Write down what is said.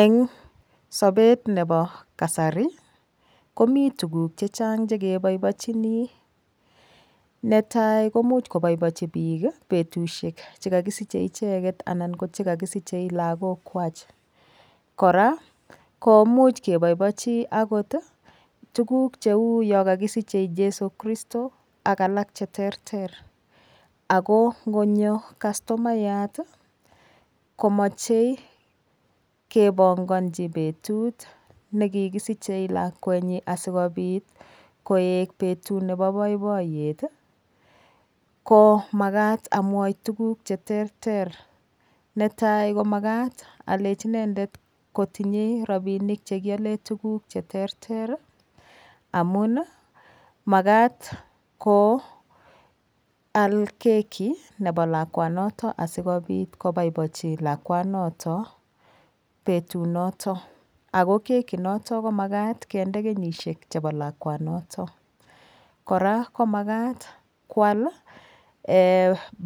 Eng' sopet nepo kasari komii tuguk chechang' chekepaipaichini netai komuch kopaipaichi piik petusiek chekagisiche icheket anan ko chekagisiche lagok kwach, koraa komuch kepoipoichi akot tuguk cheu yo kakagisiche Jeso christo ak alak cheterter ako ngonyo kastomayat komachei keponganji petut nekigisiche lakwet nyin asikopit koek petut nepo boiboiyet ko makat amwaita tuguk cheterter netai komakat alechi inendet tinyei rapinik chekiale tuguk cheterter amun makat ko al keki nepo lakwet sikopit kopoipoichi lakwet notok petut noton ako keki notok komakat kende kenyisiek chepo lakwanotok koraa ko makat kwal